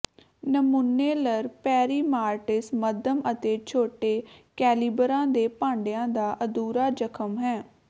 ਨਮੂਨੇਲਰ ਪੇਰੀਮਾਰਟਿਸ ਮੱਧਮ ਅਤੇ ਛੋਟੇ ਕੈਲੀਬਰਾਂ ਦੇ ਭਾਂਡਿਆਂ ਦਾ ਅਧੂਰਾ ਜ਼ਖ਼ਮ ਹੈ